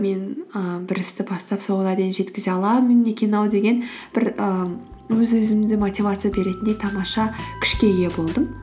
мен і бір істі бастап соңына дейін жеткізе аламын екен ау деген бір і өз өзімді мотивация беретіндей тамаша күшке ие болдым